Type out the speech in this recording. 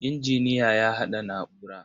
Injiniya ya haɗa na'ura.